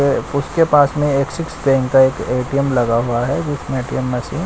उसके पास में एक सिक्स पिन का एक एटीएम लगा हुआ है उसमें--